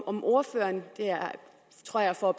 om ordføreren jeg tror jeg får